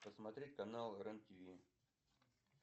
посмотреть канал рен тв